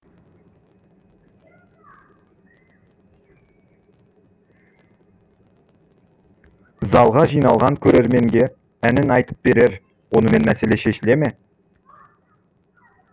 залға жиналған көрерменге әнін айтып берер онымен мәселе шешіле ме